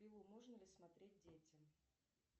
пилу можно ли смотреть детям